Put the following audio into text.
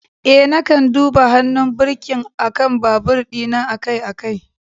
Eh, na kan duba hannun birkin akan babur dina akai-akai.